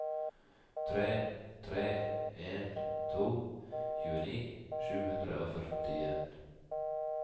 tre tre en to tjueni sju hundre og førtien